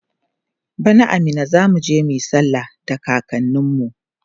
bana a Minna zamuje muyi sallah da kakanin mu